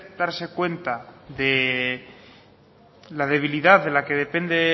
darse cuenta de la debilidad de la que depende